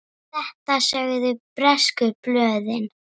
Þetta sögðu bresku blöðin.